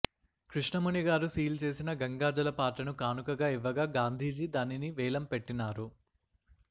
కృష్ణ ముని గారు సీలు చేసిన గంగాజల పాత్రను కానుకగా ఇవ్వగా గాంధీజీ దాని వేలం పెట్టినారు